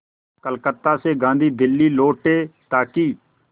कलकत्ता से गांधी दिल्ली लौटे ताकि